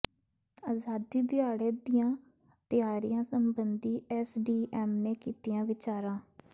ਅਜ਼ਾਦੀ ਦਿਹਾੜੇ ਦੀਆਂ ਤਿਆਰੀਆਂ ਸਬੰਧੀ ਐੱਸਡੀਐੱਮ ਨੇ ਕੀਤੀਆਂ ਵਿਚਾਰਾਂ